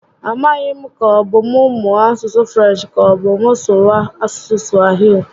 A maghị m ka ọbụ mụ mụọ asụsụ Frenchi ka ọbụ asụsụ Swahili?